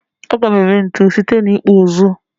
A ga-eme ntu site n'ịkpụ ụzụ.